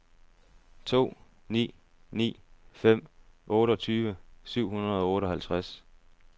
to ni ni fem otteogtyve syv hundrede og otteoghalvtreds